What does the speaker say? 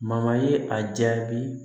ye a jaabi